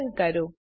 run કરો